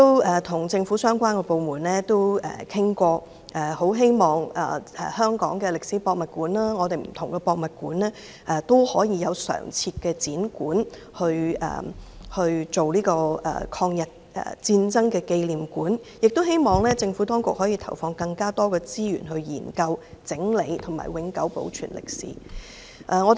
我曾與政府相關部門討論，希望香港的歷史博物館及不同的博物館有常設展館，作為抗日戰爭紀念館，亦希望政府當局投放更多資源，研究、整理及永久保存這段歷史。